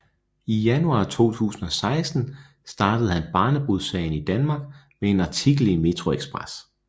I januar 2016 startede han barnebrudssagen i Danmark med en artikel i Metroxpress